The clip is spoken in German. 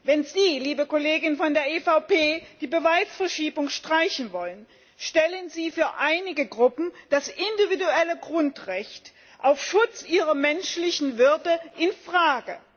Wenn Sie, liebe Kollegen von der EVP, die Beweisverschiebung streichen wollen, stellen Sie für einige Gruppen das individuelle Grundrecht auf Schutz ihrer menschlichen Würde in Frage.